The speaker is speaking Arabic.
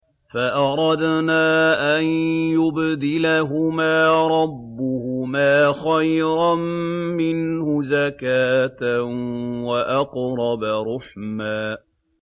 فَأَرَدْنَا أَن يُبْدِلَهُمَا رَبُّهُمَا خَيْرًا مِّنْهُ زَكَاةً وَأَقْرَبَ رُحْمًا